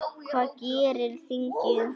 Hvað gerir þingið?